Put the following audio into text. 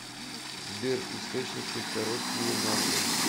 сбер источники короткие нарды